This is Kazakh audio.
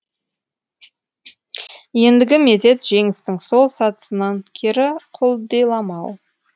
ендігі мезет жеңістің сол сатысынан кері құлдиламау